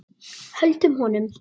Höldum honum!